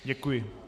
Děkuji.